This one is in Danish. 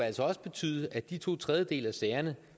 altså også betyde at i de to tredjedele af sagerne